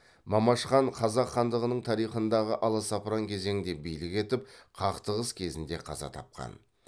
мамаш хан қазақ хандығының тарихындағы аласапыран кезеңде билік етіп қақтығыс кезінде қаза тапқан